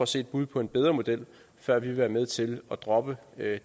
se et bud på en bedre model før vi vil være med til at droppe